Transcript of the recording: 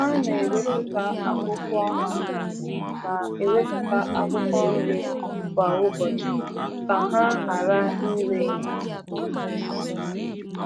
Ha na-ewepụta akwụkwọ Ha na-ewepụta akwụkwọ nri kwa ụbọchị ka ha ghara ire n’osisi.